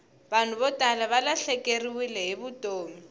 vanhu vo tala valahlekeriwile hi vutomi